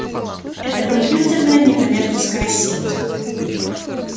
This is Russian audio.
это компьютерная некоммерческая сеть